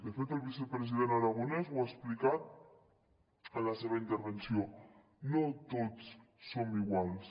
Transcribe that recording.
de fet el vicepresident aragonès ho ha explicat en la seva intervenció no tots som iguals